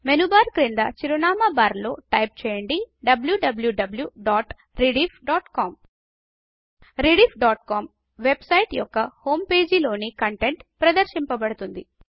menu bar క్రింద చిరునామా bar లో టైప్ చేయండి160 wwwrediffcom rediffకామ్ వెబ్ సైట్ యొక్క హోమ్ పేజీలోని కంటెంట్ ప్రదర్శించబడుతుంది